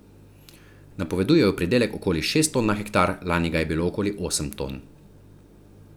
Napovedujejo pridelek okoli šest ton na hektar, lani ga je bilo okoli osem ton.